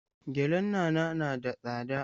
Gyallen Nana na da tsada.